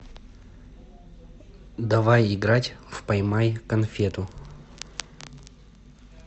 давай играть в поймай конфету